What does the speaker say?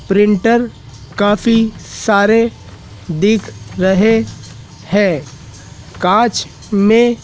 printer काफी सारे दिख रहे हैं कांच में--